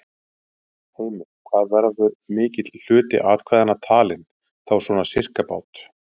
Heimir: Hvað verður mikill hluti atkvæða talinn, þá svona sirkabát?